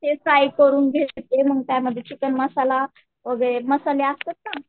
ते फ्राय करून घेते मग त्यामध्ये चिकन मसाला मसाले असतात ना